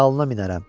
Dalına minərəm.